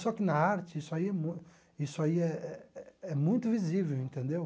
Só que na arte isso aí é mu isso aí é é é muito visível, entendeu?